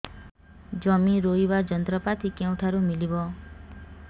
ଜମି ରୋଇବା ଯନ୍ତ୍ରପାତି କେଉଁଠାରୁ ମିଳିବ